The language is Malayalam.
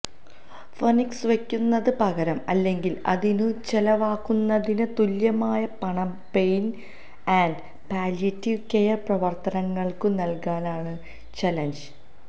ഫഌക്സ് വയ്ക്കുന്നതിനു പകരം അല്ലെങ്കില് അതിനു ചെലവാകുന്നതിനു തുല്യമായ പണം പെയ്ന് ആന്ഡ് പാലിയേറ്റിവ് കെയര് പ്രവര്ത്തനങ്ങള്ക്കു നല്കാനാണ് ചലഞ്ച്